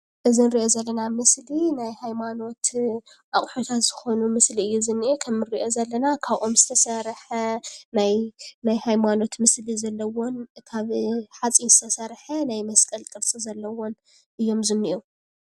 እዚ ንርኦ ዘለና ምስሊ ናይ ሃይማኖት ኣቑሑታት ዝኾነ ምስሊ እዩ ዝነኤ። ከምንርኦ ዘለና ካብ ኦም ዝተሰረሓ ናይ ሃይማኖት ምስሊ ዘሎዎ ካብ ሓፂን ዝተሰረሓ ናይ መስቀል ቅርፂ ዘለዎን እዮም ዝኔኤዉ።